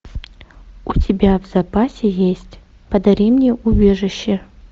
у тебя в запасе есть подари мне убежище